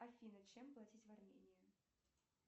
афина чем платить в армении